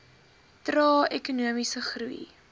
trae ekonomiese groei